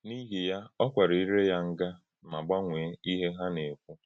N’íhì ya, ọ̀ kwàrā íré ya ngà mà gbànwèé íhè hà na-ekwù.